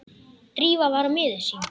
Drífa var miður sín.